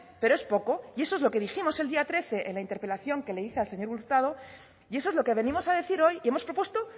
pero es poco y eso es lo que dijimos el día trece en la interpelación que le hice al señor hurtado y eso es lo que venimos a decir hoy y hemos propuesto